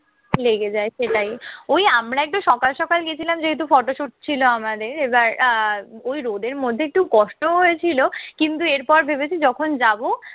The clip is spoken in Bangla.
লেগে যায়, সেটাই। ওই আমরা একটু সকাল সকাল গেছিলাম যেহেতু photo shoot ছিল আমাদের। আহ আর ওই রোদের মধ্যে একটু কষ্টও হয়েছিল। কিন্তু এরপর ভেবেছি যখন যাবো